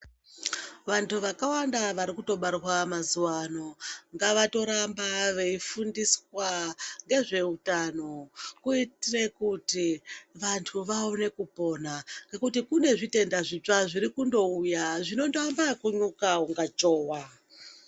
Vantu vakawanda vari kutobarwa mazuva ano ngavatoramba veifundiswa ngezveutano kuitire kuti vantu vaone kupona ngekuti kune zvitenda zvitsva zviri kutouya zviri kuamba ekumuka kunga chowa.